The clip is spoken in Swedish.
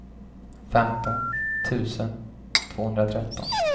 femton tusen tvåhundratretton